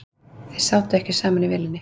Þeir sátu ekki saman í vélinni